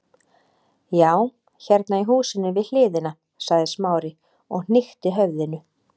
Já, hérna í húsinu við hliðina- sagði Smári og hnykkti höfðinu.